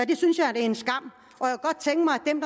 det synes jeg er en skam